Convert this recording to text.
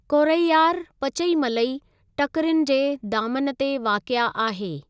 कोरैयार पचईमलई टकिरियुनि जे दामन ते वाक़िआ आहे।